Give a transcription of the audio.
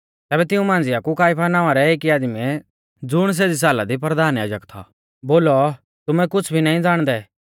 तैबै तिऊं मांझ़िआ कु काइफा नावां रै एकी आदमीऐ ज़ुण सेज़ी साला दी परधान याजक थौ बोलौ तुमै कुछ़ भी नाईं ज़ाणदै